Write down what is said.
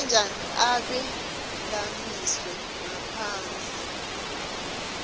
ebee lamiswe ngaphasi